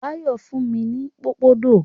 Báyọ̀ fún mi ní pòpondò.